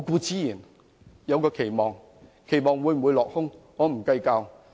至於期望會否落空，我並不計較。